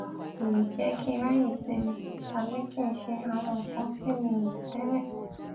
í jé kí n ráyè sinmi tàbí kí n ṣe àwọn nǹkan tí mi ò rò télè